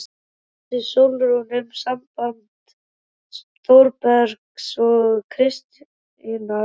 Vissi Sólrún um samband Þórbergs og Kristínar?